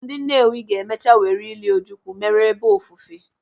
Ndị Nnewi ga-emecha were ịli Ojukwu mere ebe ofufe.